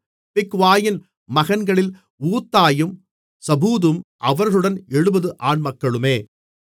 பிக்வாயின் மகன்களில் ஊத்தாயும் சபூதும் அவர்களுடன் 70 ஆண்மக்களுமே